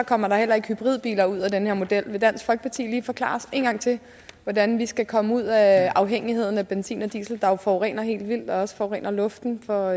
kommer der heller ikke hybridbiler ud af den her model vil dansk folkeparti lige forklare os en gang til hvordan vi skal komme ud af afhængigheden af benzin og diesel der jo forurener helt vildt også forurener luften for